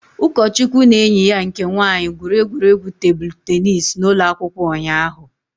Ugochukwu na enyi ya nke nwaanyị gwuru egwuregwu tebụl teenis n'ụlọ akwụkwọ ụnyaahụ